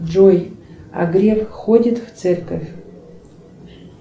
джой а греф ходит в церковь